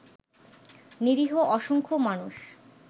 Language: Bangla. নিরীহ অসংখ্য মানুষ